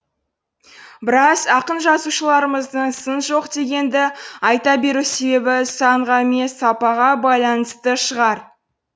біраз ақын жазушыларымыздың сын жоқ дегенді айта беру себебі санға емес сапаға байланысты шығар